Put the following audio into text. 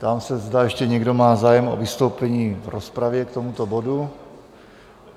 Ptám se, zda ještě někdo má zájem o vystoupení v rozpravě k tomuto bodu?